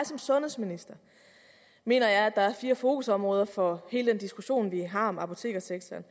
som sundhedsminister mener jeg at der er fire fokusområder for hele den diskussion vi har om apotekersektoren